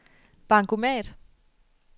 bankomat